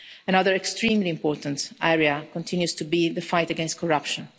Another extremely important area continues to be the fight against corruption.